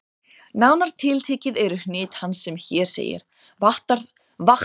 Nánar tiltekið eru hnit hans sem hér segir: Vakthafandi Læknir